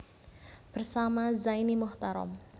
Bersama Zaini Muchtarom